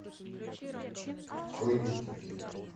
открой викинги